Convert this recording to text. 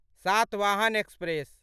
Satavahana express